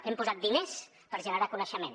hem posat diners per generar coneixement